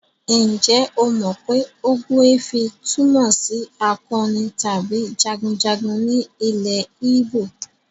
Ǹjẹ́ o mọ pé ogbuefi túmọ̀ sí akọni tàbí jagunjagun ní ilẹ̀ Igbo?